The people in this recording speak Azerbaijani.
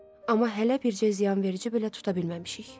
Amma hələ bircə ziyanverici belə tuta bilməmişik.